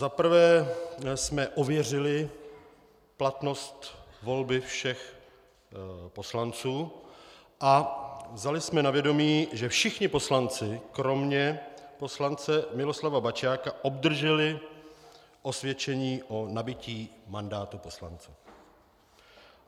Zaprvé jsme ověřili platnost volby všech poslanců a vzali jsme na vědomí, že všichni poslanci kromě poslance Miloslava Bačiaka obdrželi osvědčení o nabytí mandátu poslance.